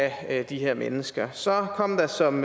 at have de her mennesker så kom der som